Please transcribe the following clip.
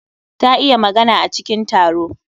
Ta iya magana a cikin taro